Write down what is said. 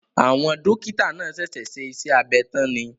Àwọn Dókítà náà ṣẹ̀ṣẹ̀ ṣe iṣẹ́ abẹ tán ni